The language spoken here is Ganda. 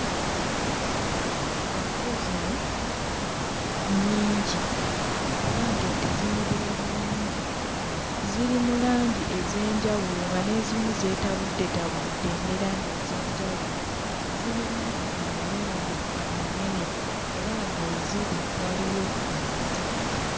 Ente zino nnyingi era ng'ente zinyirira bulungi. Ziri mu langi ez'enjawulo nga n'ezimu zeetabuddetabudde ne langi ez'enjawulo. Zirina amayembe amanene era nga we ziri waliwo omuti.